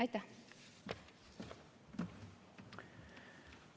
Aitäh!